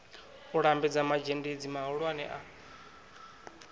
u lambedza mazhendedzi mahulwane a